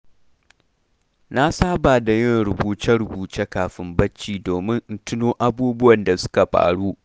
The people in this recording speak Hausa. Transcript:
Na Saba da yin rubuce-rubuce kafin barci, domin in tuno abubuwan da suka faru.